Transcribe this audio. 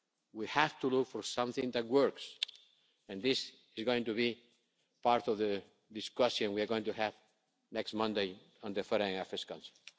enough. We have to look for something that works and this is going to be part of the discussions that we are going to have next Monday in the Foreign Affairs Council.